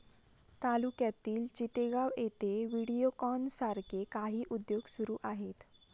तालुक्यातील चितेगाव येथे व्हिडिओकॉन सारखे काही उद्योग सुरू आहेत